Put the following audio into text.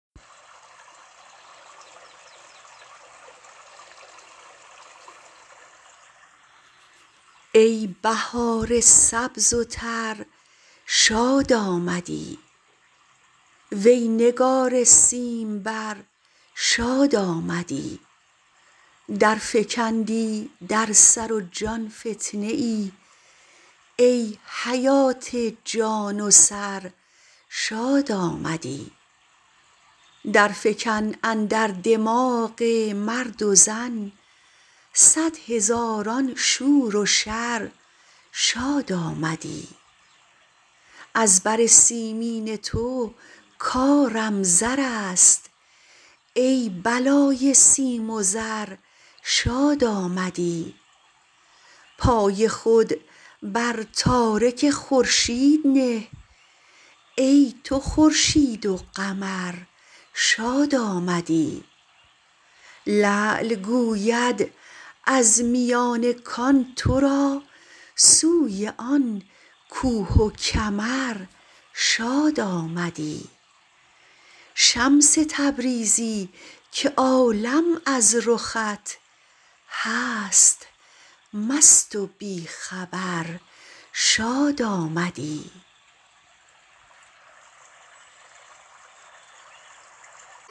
ای بهار سبز و تر شاد آمدی وی نگار سیمبر شاد آمدی درفکندی در سر و جان فتنه ای ای حیات جان و سر شاد آمدی درفکن اندر دماغ مرد و زن صد هزاران شور و شر شاد آمدی از بر سیمین تو کارم زر است ای بلای سیم و زر شاد آمدی پای خود بر تارک خورشید نه ای تو خورشید و قمر شاد آمدی لعل گوید از میان کان تو را سوی آن کوه و کمر شاد آمدی شمس تبریزی که عالم از رخت هست مست و بی خبر شاد آمدی